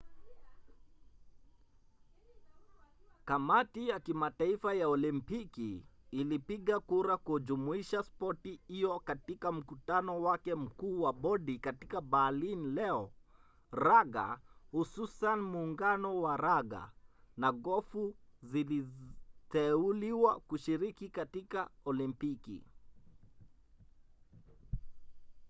kamati ya kimataifa ya olimpiki ilipigia kura kujumuisha spoti hiyo katika mkutano wake mkuu wa bodi katika berlin leo. raga hususan muungano wa raga na gofu ziliteuliwa kushiriki katika olimpiki